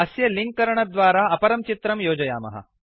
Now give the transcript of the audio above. अस्य लिंक् करणद्वारा अपरं चित्रं योजयामः